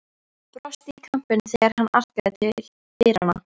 Brosti í kampinn þegar hann arkaði til dyranna.